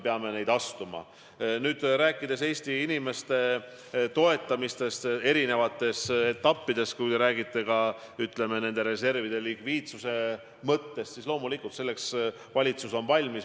Mis puutub Eesti inimeste toetamisse eri etappides – te rääkisite reservide likviidsusest –, siis loomulikult on valitsus selleks valmis.